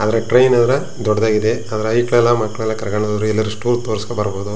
ಆದರೆ ಟ್ರೈನ್ ಆದ್ರೆ ದೊಡ್ಡದೇ ಇದೆ ಅದರಲ್ಲಿ ಹೈಕ್ಲೆಲ್ಲಾ ಮಕ್ಕಳೆಲ್ಲ ಕರ್ಕೊಂಡು ಹೋದರೆ ಎಲ್ಲಾರು ಟೂರ್ ತೋರಿಸ್ಕೊ ಬರ್ಬೋದು.